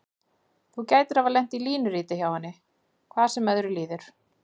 Þú gætir hafa lent í línuriti hjá henni, hvað sem öðru líður.